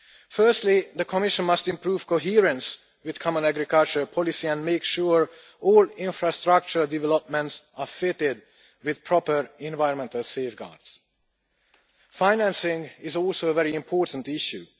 Firstly, the Commission must improve coherence with common agricultural policy and make sure that all infrastructure developments are fitted with proper environmental safeguards. Financing is also a very important issue.